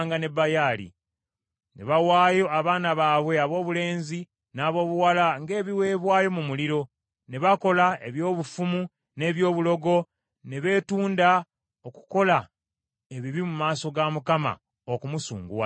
Ne bawaayo abaana baabwe aboobulenzi n’aboobuwala ng’ebiweebwayo mu muliro, ne bakola eby’obufumu n’eby’obulogo, ne beetunda okukola ebibi mu maaso ga Mukama , okumusunguwaza.